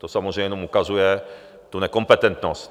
To samozřejmě jenom ukazuje tu nekompetentnost.